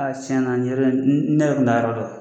A tiɲɛ na nin yɔrɔ ne yɛrɛ tun t'a yɔrɔ dɔn